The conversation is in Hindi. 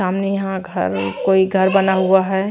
सामने यहां घर कोई घर बना हुआ है।